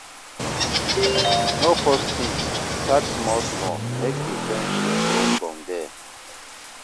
No force things, start small small make di friendship grow from there